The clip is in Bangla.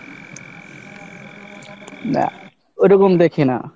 না, ওইরকম দেখি না।